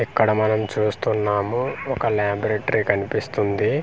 ఇక్కడ మనం చూస్తున్నాము ఒక లాబరేటరీ కనిపిస్తుంది.